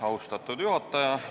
Austatud juhataja!